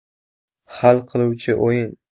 Hal qiluvchi o‘yin.